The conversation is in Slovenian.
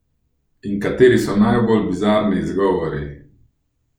In kateri so najbolj bizarni izgovori?